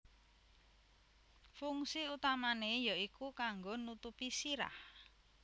Fungsi utamané ya iku kanggo nutupi sirah